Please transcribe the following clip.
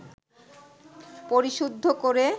পরিশুদ্ধ করে